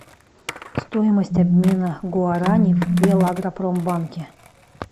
стоимость обмена гуарани в белагропромбанке